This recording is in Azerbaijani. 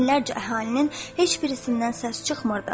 Minlərcə əhalinin heç birisindən səs çıxmırdı.